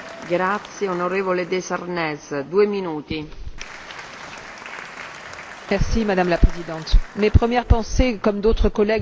Madame la Présidente, mes premières pensées comme d'autres collègues l'ont dit vont évidemment à tous ceux qui sont tombés sous les balles à Maïdan, la semaine dernière.